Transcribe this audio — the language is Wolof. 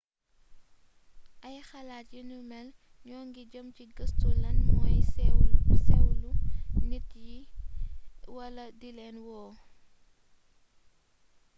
ay xalaat yu ni mél ñoo ngi jeem ci gëstu lan mooy séwlo nit yi wala dilén wo